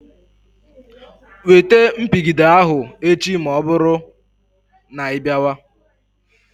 Wete mpigide ahụ echi ma ọbụrụ na ịbịawa.